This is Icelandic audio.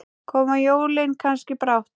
Koma jólin kannski brátt?